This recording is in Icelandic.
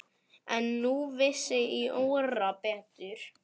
En nú vissi Jóra betur.